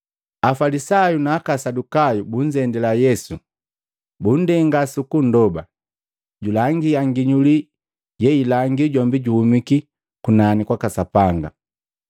Afalisayu na aka Asadukayu bunzendila Yesu, bunndenga sukunndoba, julangia nginyuli yeilangi jombi juhuma kunani kwaka Sapanga.